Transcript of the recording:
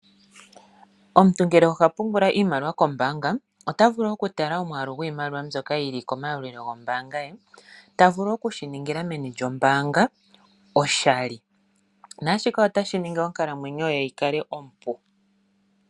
Omuntu ngele oha pungula iimaliwa kombaanga, ota vulu okutala omwaalu gwiimaliwa mbyoka yili komayalulilo gombaanga ye, ta vulu okushiningila meni lyombaanga oshali. Nashika otashi ningi onkalamwenyo ye yikale ompu.